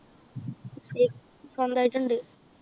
സ്വന്തായിട്ട് ഇണ്ട്